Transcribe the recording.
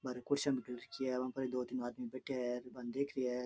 बार कुर्सियां भी ढल रखी है बा पे दो तीन आदमी बैठा है र बान देख रिया है।